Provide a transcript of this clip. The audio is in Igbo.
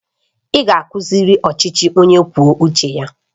Ị ga-akuziri ọchịchị onye kwuo uche ya